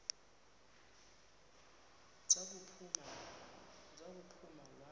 za kuphuma wakhu